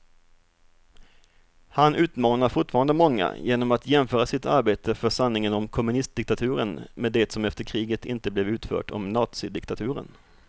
Han utmanar fortfarande många genom att jämföra sitt arbete för sanningen om kommunistdiktaturen med det som efter kriget inte blev utfört om nazidiktaturen.